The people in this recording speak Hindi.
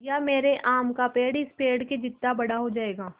या मेरा आम का पेड़ इस पेड़ के जितना बड़ा हो जायेगा